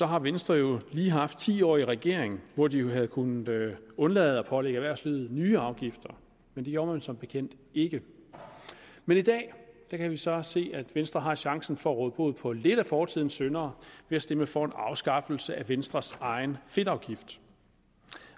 har venstre lige haft ti år i regering hvor de jo havde kunnet undlade at pålægge erhvervslivet nye afgifter men det gjorde man som bekendt ikke men i dag kan vi så se at venstre har chancen for at råde bod på lidt af fortidens synder ved at stemme for en afskaffelse af venstres egen fedtafgift